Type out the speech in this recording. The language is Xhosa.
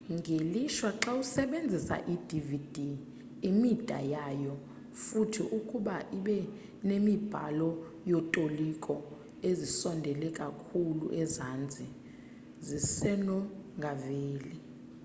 ngelishwa xawusenza i-dvd imida yayo futhi ukuba ibinemibhalo yotoliko ezisondele kakhulu ezantsi zisenongaveli